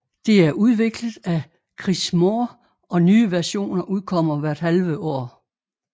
Det er udviklet af Kris Moore og nye versioner udkommer hvert halve år